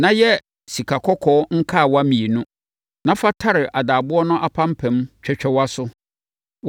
na yɛ sikakɔkɔɔ nkawa mmienu, na fa tare adaaboɔ no apampam twɛtwɛwa so;